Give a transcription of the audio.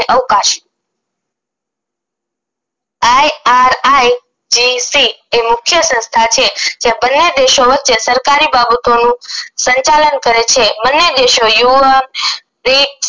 અવકાશ IRIKC એ મુખ્ય સંસ્થા છે જે બંને દેશો વચ્ચે સરકારી બાબતોનું સંચાલન કરે છે બંને દેશો યુવક